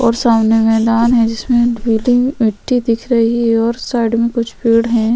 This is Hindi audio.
और सामने मैदान जिसमे पिली मिट्टी दिख रही है और साइड में कुछ पेड़ है।